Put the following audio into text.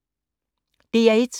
DR1